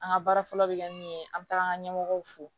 An ka baara fɔlɔ bɛ kɛ min ye an bɛ taa an ka ɲɛmɔgɔw fo